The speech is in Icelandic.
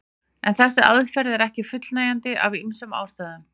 En þessi aðferð er ekki fullnægjandi af ýmsum ástæðum.